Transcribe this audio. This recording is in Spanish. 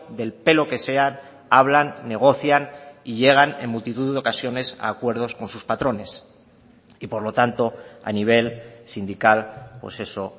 del pelo que sea hablan negocian y llegan en multitud de ocasiones a acuerdos con sus patrones y por lo tanto a nivel sindical pues eso